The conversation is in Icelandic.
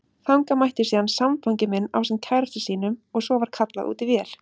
Þangað mætti síðan samfangi minn ásamt kærasta sínum og svo var kallað út í vél.